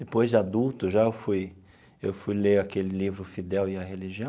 Depois de adulto já eu fui eu fui ler aquele livro Fidel e a Religião.